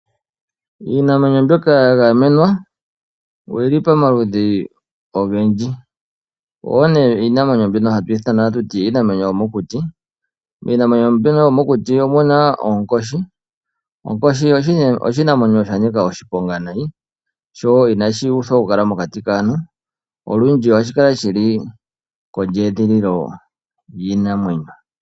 Iinamwenyo mbyoka ya gamenwa oyi li pamaludhi ogendji. Oyo iinamwenyo hatu ithana kutya iinamwenyo yomokuti. Miinamwenyo mbyono yomokuti omu na oonkoshi. Onkoshi oshinamwenyo sha nika oshiponga noonkondo no inashi pumbwa okukala mokati kaantu. Olundji ohashi kala shi li moshikunino shiinamwenyo.